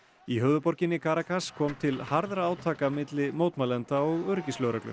í höfuðborginni kom til harðra átaka milli mótmælenda og öryggislögreglu